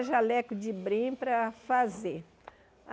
Jalecos de brim para fazer.